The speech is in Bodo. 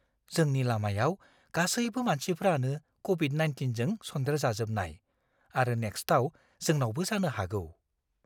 जोंनि लामायाव गासैबो मानसिफ्रानो क'विड-19जों सन्देरजाजोबनाय आरो नेक्स्टाव जोंनावबो जानो हागौ।